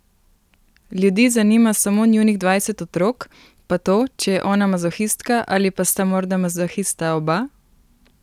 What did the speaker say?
Ljudi zanima samo njunih dvajset otrok, pa to, če je ona mazohistka, ali pa sta morda mazohista oba?